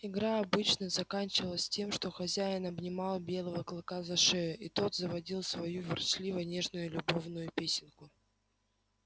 игра обычно заканчивалась тем что хозяин обнимал белого клыка за шею а тот заводил свою ворчливо нежную любовную песенку